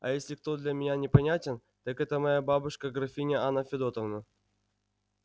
а если кто для меня непонятен так это моя бабушка графиня анна федотовна